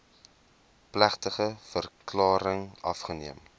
plegtige verklaring afgeneem